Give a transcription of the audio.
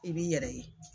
I b'i yɛrɛ ye